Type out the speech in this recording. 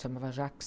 chamava Jaques.